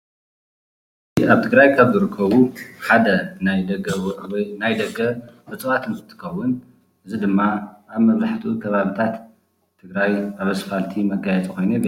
አብ ትግራይ ካብ ዝርከቡ ሓደ ናይ ደገ ናይ ደገ እፅዋት እንትትኸውን እዙይ ድማ አብ መብዛሕትኡ ከባብታት ትግራይ አብ እስፋልቲ መጋየፂ ኮይኑ የገልግል።